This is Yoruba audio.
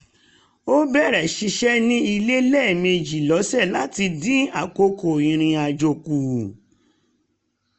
ó bẹ̀rẹ̀ ṣíṣe ní ilé lẹ́mẹjì lọ́sẹ̀ láti dín àkókò irinàjò kù